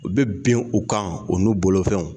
U bɛ bin u kan u n'u bolofɛnw.